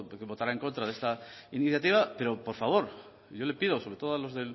que votará en contra de esta iniciativa pero por favor yo le pido sobre todo a los